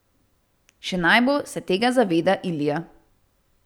Še najbolj se tega zaveda Ilija.